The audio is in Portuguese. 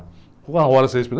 Ficou uma hora sem respirar.